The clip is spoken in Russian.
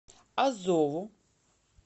азову